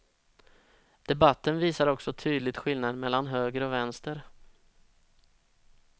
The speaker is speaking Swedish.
Debatten visar också tydligt skillnaden mellan höger och vänster.